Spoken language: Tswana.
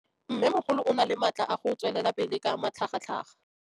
Mmêmogolo o na le matla a go tswelela pele ka matlhagatlhaga.